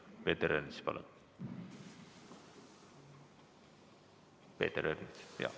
Peeter Ernits, palun!